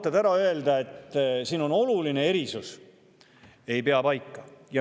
et siin on oluline erisus, ei pea paika.